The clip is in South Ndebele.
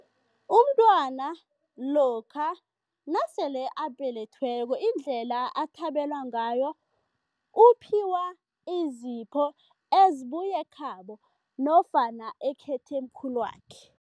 Umntwana lokha nasele abelethweko indlela athabelwa ngayo, uphiwa izipho ezibuya ekhabo nofana ekhethemkhulwakhe.